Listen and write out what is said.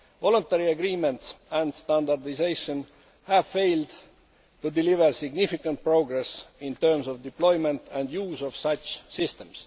Voluntary agreements and standardisation have failed to deliver significant progress in terms of deployment and use of such systems.